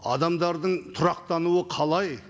адамдардың тұрақтануы қалай